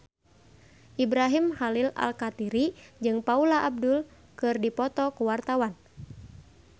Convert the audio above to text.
Ibrahim Khalil Alkatiri jeung Paula Abdul keur dipoto ku wartawan